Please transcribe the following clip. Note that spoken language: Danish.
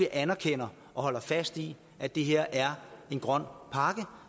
anerkender og holder fast i at det her er en grøn pakke